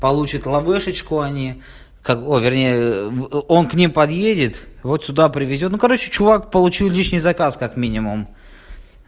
получат ловешечку они ой вернее он к ним подъедет вот сюда привезёт ну короче чувак получил лишний заказ как минимум